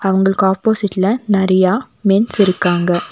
அவங்களுக்கு ஆப்போசிட்ல நெறையா மென்ஸ் இருக்காங்க.